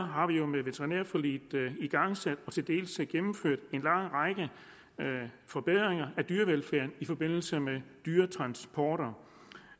har vi jo med veterinærforliget igangsat og til dels gennemført en lang række forbedringer af dyrevelfærden i forbindelse med dyretransporter